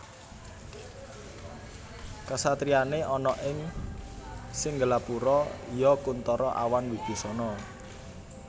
Kasatriyané ana ing Singgelapura iya Kunthara awan Wibisana